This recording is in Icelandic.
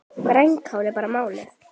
Grænkál er bara málið!